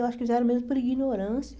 Eu acho que fizeram mesmo por ignorância.